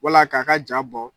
Wala k'a ka ja bɔ